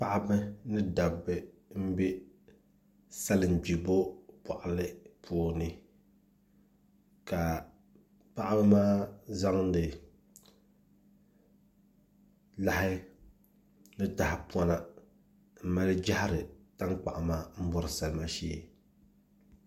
Paɣaba ni dabba n bɛ salin gbibo boɣali puuni ka paɣaba maa zaŋdi lahi ni tahapona n mali jahari tankpaɣu maa n bori salima shee